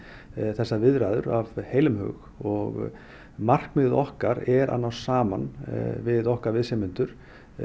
þessar viðræður af heilum hug og markmiðið okkar er að ná saman við okkar viðsemjendur